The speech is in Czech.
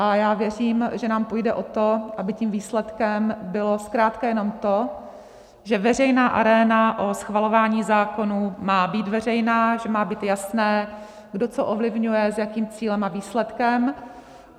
A já věřím, že nám půjde o to, aby tím výsledkem bylo zkrátka jenom to, že veřejná aréna o schvalování zákonů má být veřejná, že má být jasné, kdo co ovlivňuje, s jakým cílem a výsledkem.